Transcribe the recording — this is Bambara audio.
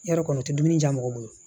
Yarɔ kɔni u tɛ dumuni diya mɔgɔ bolo